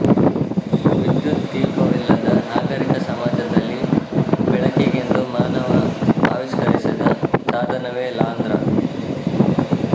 ವಿದ್ಯುತ್ ದೀಪವಿಲ್ಲದ ನಾಗರೀಕ ಸಮಾಜದಲ್ಲಿ ಬೆಳಕಿಗೆಂದು ಮಾನವ ಆವಿಷ್ಕರಿಸಿದ ಸಾಧನವೇ ಲಾಂದ್ರ